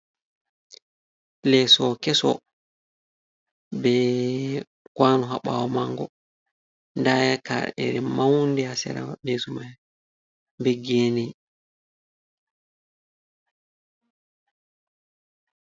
Leso keso ɓe kwanu habawo mango daya ka’ere maunɗe hasera leso mai beggeni.